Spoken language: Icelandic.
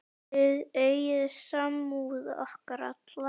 Þið eigið samúð okkar alla.